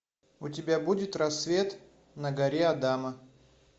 у тебя будет рассвет на горе адама